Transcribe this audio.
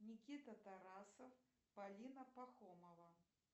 никита тарасов полина пахомова